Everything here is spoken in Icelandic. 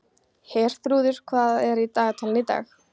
Herþrúður, hvað er í dagatalinu í dag?